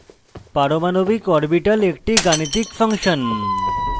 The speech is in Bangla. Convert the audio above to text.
পারমাণবিক orbital একটি গাণিতিক ফাংশন